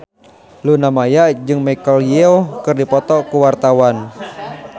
Luna Maya jeung Michelle Yeoh keur dipoto ku wartawan